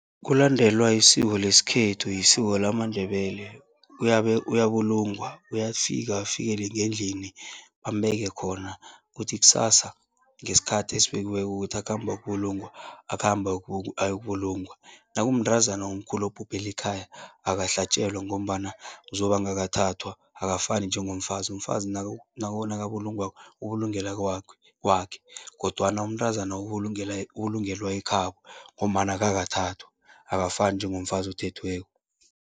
Kulandelwa isiko lesikhethu, isiko lamaNdebele, uyabulungwa. Uyafika afikele ngendlini bambeke khona, kuthi kusasa ngesikhathi esibekiweko ukuthi akhambe ayokubulungwa, akhambe ayokubulungwa. Nakumntazana omkhulu obhubhele ekhaya, akahlatjelwa ngombana uzobe angakathathwa, akafani njengomfazi. Umfazi nakabulungwako, ubulungelwa kwakhe kodwana umntazana ubulungelwa ekhabo ngombana akakathathwa, akafani njengomfazi othethweko.